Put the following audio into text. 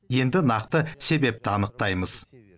енді нақты себепті анықтаймыз